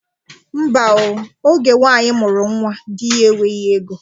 Ḿbà o, oge nwaanyị mụrụ nwa, dị ya enweghị ego.